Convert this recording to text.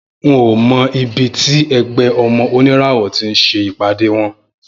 N ò mo̩ ibi tí e̩gbé̩ O̩mo̩ Oníràwò̩ tí ń s̩e ìpàdé wo̩n